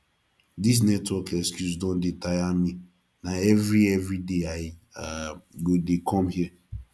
this network excuse don dey tire me na every every day i um go dey come here